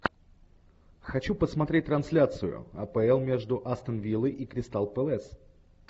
хочу посмотреть трансляцию апл между астон виллой и кристал пэлас